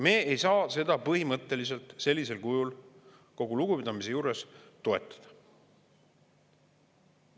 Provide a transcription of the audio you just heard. Me ei saa seda põhimõtteliselt sellisel kujul, kogu lugupidamise juures, toetada.